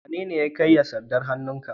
Wanene ya karya sandar hannun ka?